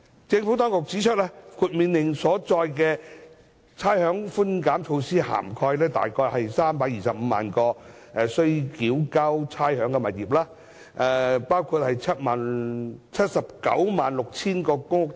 政府當局指出，《命令》所載的差餉寬減措施涵蓋約325萬個須繳交差餉的物業，包括 796,000 個公屋單位。